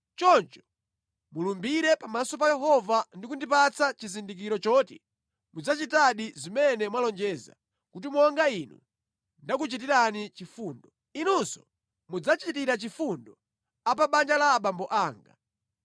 Choncho mulumbire pamaso pa Yehova ndi kundipatsa chizindikiro choti mudzachitadi zimene mwalonjeza, kuti monga inu ndakuchitirani chifundo, inunso mudzachitira chifundo a pa banja la abambo anga.